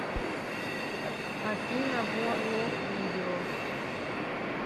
афина ворлок видео